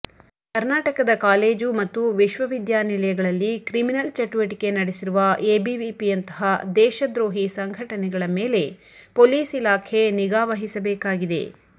ಕರ್ನಾಟಕದ ಕಾಲೇಜು ಮತ್ತು ವಿಶ್ವವಿದ್ಯಾನಿಲಯಗಳಲ್ಲಿ ಕ್ರಿಮಿನಲ್ ಚಟುವಟಿಕೆ ನಡೆಸಿರುವ ಎಬಿವಿಪಿಯಂತಹ ದೇಶದ್ರೋಹಿ ಸಂಘಟನೆಗಳ ಮೇಲೆ ಪೊಲೀಸ್ ಇಲಾಖೆ ನಿಗಾ ವಹಿಸಬೇಕಾಗಿದೆ